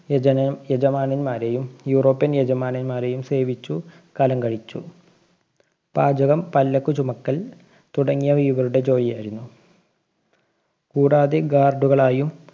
യജമാ~യജമാനന്മാരെയും European‍ യജമാനന്മാരെയും സേവിച്ചു കാലം കഴിച്ചു. പാചകം, പല്ലക്കു ചുമക്കല്‍ തുടങ്ങിയവ ഇവരുടെ ജോലിയായിരുന്നു. കൂടാതെ guard കളായും